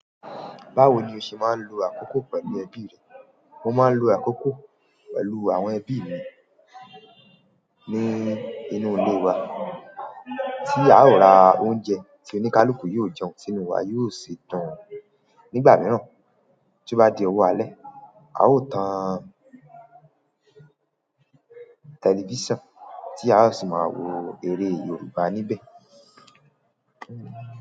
Báwo ni o ṣe máa ń lo àkókò pẹ̀lú ẹbí rẹ? Mo máa ń lo àkókò pẹ̀lú àwọn ẹbí mi ní inú ilé wa, tí a ó ra oúnjẹ tí oníkálukú yóò jẹun sínú wa, yóò sì dùn nígbà mìíràn. Tí ó bá di ọwọ́ alẹ́, a ó tàn tẹlifíṣàn tí a ó sì máa wo eré Yorùbá níbẹ̀.